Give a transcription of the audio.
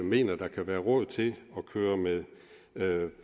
mener at der kan være råd til at køre med